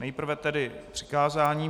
nejprve tedy přikázání.